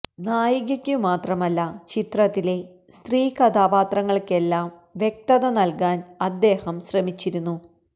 നായികക്കു മാത്രമല്ല ചിത്രത്തിലെ സ്ത്രീ കഥാപാത്രങ്ങൾക്കെല്ലാം വ്യക്തത നൽകാൻ അദ്ദേഹം ശ്രമിച്ചിരുന്നു